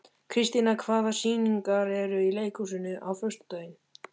Kristíanna, hvaða sýningar eru í leikhúsinu á föstudaginn?